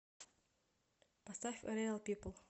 поставь реал пипл